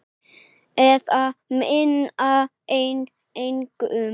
Eða minna en engu.